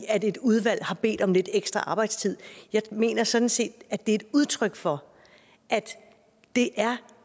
at et udvalg har bedt om lidt ekstra arbejdstid jeg mener sådan set at det er udtryk for at det er